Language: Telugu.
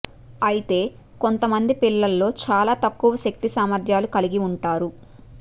అయితే కొంత మంది పిల్లలో చాలా తక్కువ శక్తి సామర్థ్యాలు కలిగి ఉంటారు